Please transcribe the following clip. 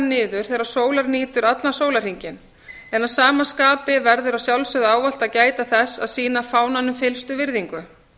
niður þegar sólar nýtur allan sólarhringinn en að sama skapi verður að sjálfsögðu ávallt að gæta þess að sýna fánanum fyllstu virðingu